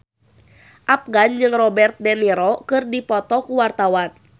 Afgan jeung Robert de Niro keur dipoto ku wartawan